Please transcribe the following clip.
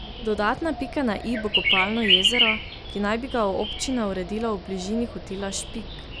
Dodatna pika na i bo kopalno jezero, ki naj bi ga občina uredila v bližini Hotela Špik.